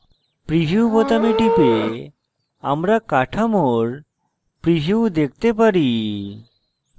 preview বোতামে টিপে আমরা কাঠামোর preview দেখতে পারি